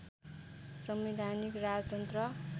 संवैधानिक राजतन्त्र